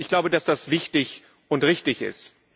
Ich glaube, dass das wichtig und richtig ist.